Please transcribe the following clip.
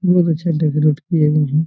बहुत अच्छा डेकोरेट किया गया है।